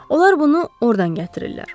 Onlar bunu ordan gətirirlər.